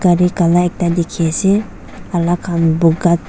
kare kala ekda dekhi ase alak khan buka.